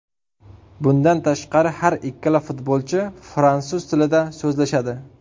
Bundan tashqari har ikkala futbolchi fransuz tilida so‘zlashadi.